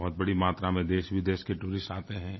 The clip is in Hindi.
बहुत बड़ी मात्रा में देशविदेश के टूरिस्ट आते हैं